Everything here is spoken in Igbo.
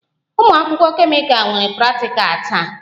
Ụmụ akwụkwọ kemịkal nwere praktikal taa